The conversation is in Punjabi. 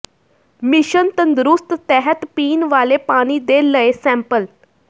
ਮਿਸ਼ਨ ਤੰਦਰੁਸਤ ਤਹਿਤ ਪੀਣ ਵਾਲੇ ਪਾਣੀ ਦੇ ਲਏ ਸੈਂਪਲ